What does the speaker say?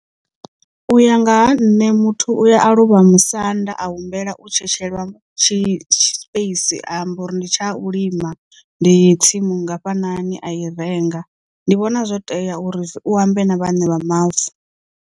U ya nga ha nṋe muthu uya aluvha musanda a humbela u tshetshelwa tshi space a amba uri ndi tsha u lima ndi tsimu nngafhani a i renga ndi vhona zwo tea uri u ambe na vhaṋe vha mavu.